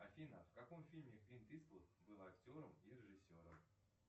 афина в каком фильме клинт иствуд был актером и режиссером